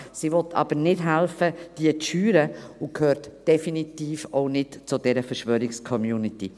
Sie will aber nicht helfen, diese zu schüren, und gehört definitiv auch nicht zu dieser Verschwörungscommunity.